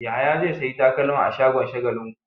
Yahaya zai sayi takalma a shagon Shagalinku.